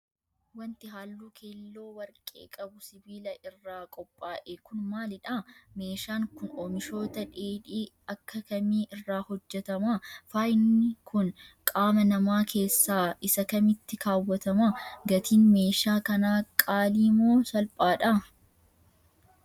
Wanti haalluu keelloo warqee qabu sibiila irraa qophaa'e kun, maalidha? Meeshaan kun, oomishoota dheedhii akka kamii irraa hojjatama? Faayni kun qaama namaa keessaa isa kamitti kaawwatama? Gatiin meeshaa kanaa qaalii moo salphaadha?